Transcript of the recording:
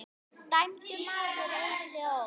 Dæmdur maður sá ei sól.